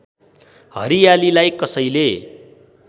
हरियालीलाई कसैले